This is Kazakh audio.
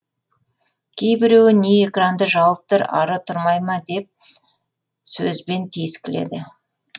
кейбіреуі не экранды жауып тұр ары тұрмай ма деп сөзбен тиіскіледі